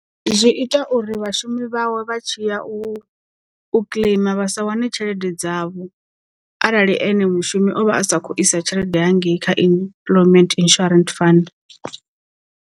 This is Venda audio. Zwi ita uri vhashumi vhawe vha tshi ya u u kiḽeima vhasa wane tshelede dzavho arali ene mushumi o vha a sakhou isa tshelede hangei kha unemployment insurance fund.